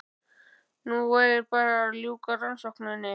Nú væri bara að ljúka rannsókninni.